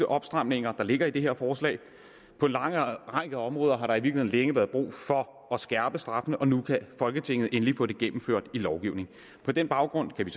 opstramninger der ligger i det her forslag på en lang række områder har der i virkeligheden længe været brug for at skærpe straffene og nu kan folketinget endelig få det gennemført i lovgivningen på den baggrund kan vi